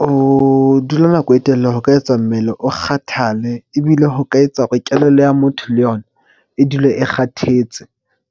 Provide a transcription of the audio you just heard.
Ho dula nako e telele ho ka etsa mmele o kgathale ebile ho ka etsa hore kelello ya motho le yona e dule e kgathetse.